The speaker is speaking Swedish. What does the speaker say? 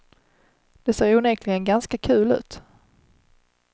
Det ser onekligen ganska kul ut.